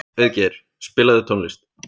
Auðgeir, spilaðu tónlist.